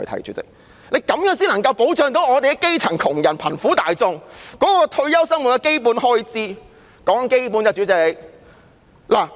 主席，這樣才能夠保障基層窮人和貧苦大眾退休後的基本生活開支。